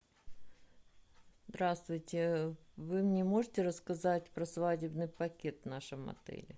здравствуйте вы мне можете рассказать про свадебный пакет в нашем отеле